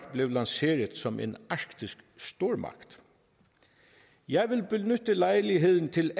blev lanceret som en arktisk stormagt jeg vil benytte lejligheden til